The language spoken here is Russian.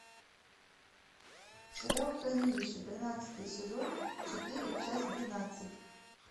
сериал хранилище тринадцатый сезон четыре часть двенадцать